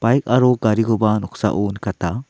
baik aro garikoba noksao nikata.